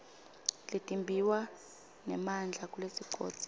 letimbiwa nemandla kulesigodzi